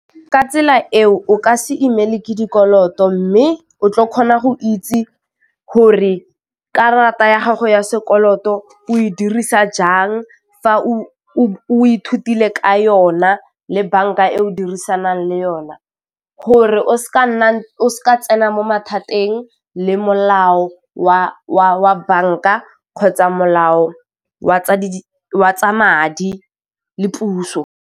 Ka tsela eo o ka se imile ke dikoloto mme o tlo kgona go itse gore karata ya gago ya sekoloto o e dirisa jang fa o ithutile ka yona le banka e o dirisanang le yone gore o se ka nna o sa tsena mo mathateng le molao wa bank-a kgotsa molao wa tsa madi le puso.